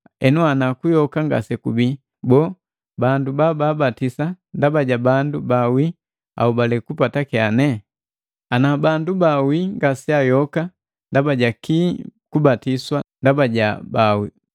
Henu ana kuyoka ngasekubii boo, bandu bababatisa ndaba ja bandu baawii ahobale kupata kyane? Ana bandu baawii ngaseayoka ndaba ja kii kubatiswa ndaba ja baawii?